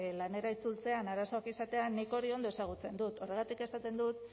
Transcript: lanera itzultzean arazoak izatea nik hori ondo ezagutzen dut horregatik esaten dut